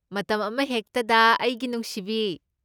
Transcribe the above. ꯃꯇꯝ ꯑꯃꯍꯦꯛꯇꯗ ꯑꯩꯒꯤ ꯅꯨꯡꯁꯤꯕꯤ꯫